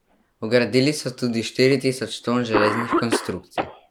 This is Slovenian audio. Vgradili so tudi štiri tisoč ton železnih konstrukcij.